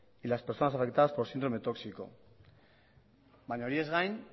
y las personas afectadas por síndrome tóxico baina horiez gain